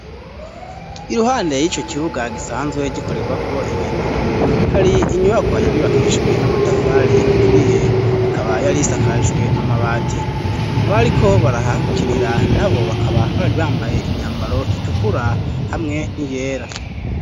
iruhande y'ico kibuga gisanzwe gikorerwa ko inkino hari inyubako yarubakiijwe amatafari aturiye ikaba yari isakajwe amabati abo ariko barahakinira nabo bakaba bari bambaye imyambaro itukura hamwe niyera